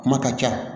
Kuma ka ca